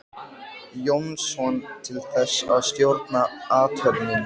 Jónsson til þess að stjórna athöfninni.